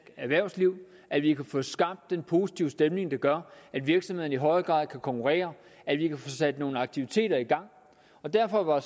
erhvervsliv at vi kan få skabt den positive stemning der gør at virksomhederne i højere grad kan konkurrere at vi kan få sat nogle aktiviteter i gang derfor var